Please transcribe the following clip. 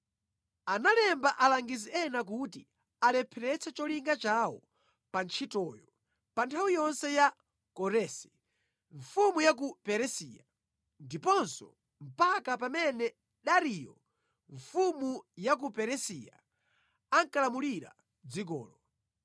Analemba alangizi ena kuti alepheretse cholinga chawo pa ntchitoyo pa nthawi yonse ya Koresi, mfumu ya ku Perisiya, ndiponso mpaka pamene Dariyo mfumu ya ku Perisiya ankalamulira dzikolo.